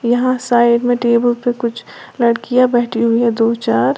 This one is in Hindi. यहां साइड में टेबल पे कुछ लड़कियां बैठी हुई है दो चार।